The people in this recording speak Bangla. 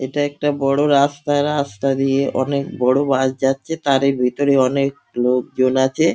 এটা একটা বড় রাস্তা রাস্তা দিয়ে অনেক বড় বাস যাচ্ছে তার ভেতরে অনেক লোকজন আছে।